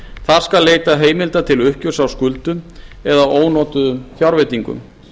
þar skal leitað heimilda til uppgjörs á skuldum eða ónotuðum fjárveitingum